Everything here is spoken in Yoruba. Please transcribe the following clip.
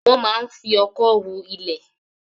Wọ́n máa ń fi ọ̀kọ́ hu ilẹ̀